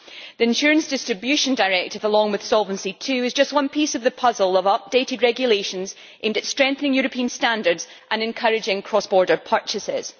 The insurance distribution directive is, along with Solvency II, just one piece of the puzzle of updated regulations aimed at strengthening European standards and encouraging cross border purchases.